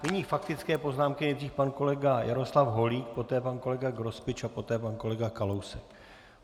Nyní faktické poznámky: nejdřív pan kolega Jaroslav Holík, poté pan kolega Grospič a poté pan kolega Kalousek.